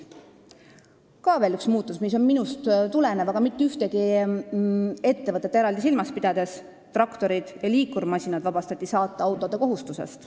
Veel üks muutus, mis on minu tegevusest tulenev, aga millega ei peetud silmas mitte ühtegi ettevõtet eraldi: traktorid ja liikurmasinad vabastati saateautode kohustusest.